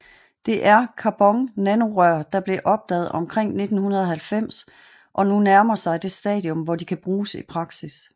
Det er carbonnanorør der blev opdaget omkring 1990 og nu nærmer sig det stadium hvor de kan bruges i praksis